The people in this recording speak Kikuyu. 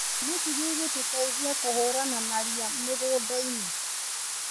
Nĩkĩ gĩgũtũteithia kũhũrana na ria mĩgũndainĩ.